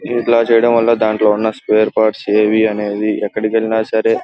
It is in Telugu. ఇట్లా చేయటం వల్ల దానిలో ఉన్న స్పేర్ పార్ట్శ్ ఏవి అనేవి ఎక్కడికి వెళ్ళిన సరే --